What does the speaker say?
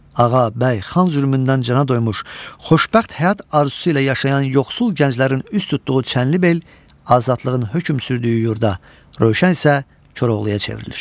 Ağa, bəy, xan zülmündən cana doymuş, xoşbəxt həyat arzusu ilə yaşayan yoxsul gənclərin üz tutduğu Çənlibel azadlığın hökm sürdüyü yurda, Rövşən isə Koroğluya çevrilir.